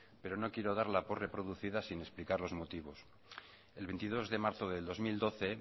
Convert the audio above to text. pero no quiero darla por reproducida sin explicar los motivos el veintidós de marzo del dos mil doce en